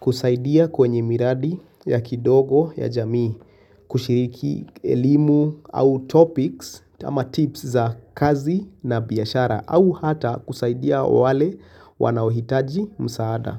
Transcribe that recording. kusaidia kwenye miradi ya kidogo ya jamii kushiriki elimu au topics ama tips za kazi na biashara au hata kusaidia wale wanaohitaji msaada.